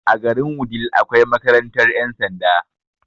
A garin wudil akwai makarantar ƴan sanda